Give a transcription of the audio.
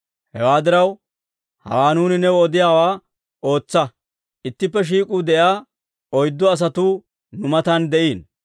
«Hewaa diraw, hawaa nuuni new odiyaawaa ootsa; ittippe shiik'uu de'iyaa oyddu asatuu nu matan de'iino.